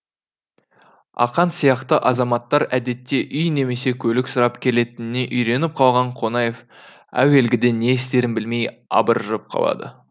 ақаң сияқты азаматтар әдетте үй немесе көлік сұрап келетініне үйреніп қалған қонаев әуелгіде не істерін білмей абыржып қалады